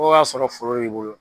Fo sɔrɔ foro b'i bolo.